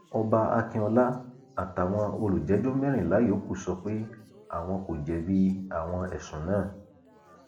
ọba akínọlá àtàwọn olùjẹjọ mẹrìnlá yòókù sọ pé àwọn kò jẹbi àwọn ẹsùn náà